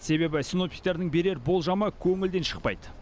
себебі синоптиктердің берер болжамы көңілден шықпайды